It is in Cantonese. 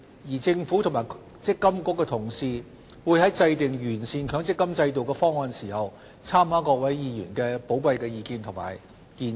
而政府與積金局的同事會在制訂完善強積金制度的方案時，參考各位議員的寶貴意見及建議。